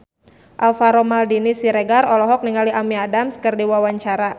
Alvaro Maldini Siregar olohok ningali Amy Adams keur diwawancara